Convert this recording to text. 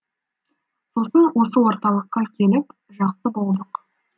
сосын осы орталыққа келіп жақсы болдық